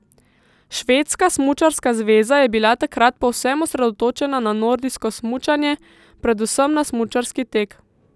Švedska smučarska zveza je bila takrat povsem osredotočena na nordijsko smučanje, predvsem na smučarski tek.